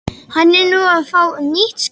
Hann er nú að fá nýtt skip.